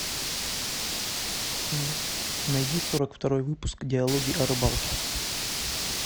найди сорок второй выпуск диалоги о рыбалке